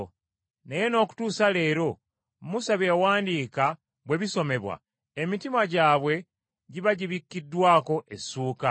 Naye n’okutuusa leero, Musa bye yawandiika bwe bisomebwa, emitima gyabwe giba gibikiddwako essuuka.